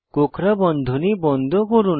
কোঁকড়া বন্ধনী বন্ধ করুন